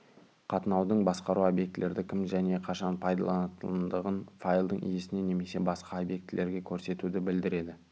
қатынаудың басқаруы обьектілерді кім және қашан пайдаланатындығын файлдың иесіне немесе басқа объектілерге көрсетуді білдіреді